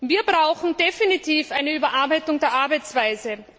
Wir brauchen definitiv eine Überarbeitung der Arbeitsweise.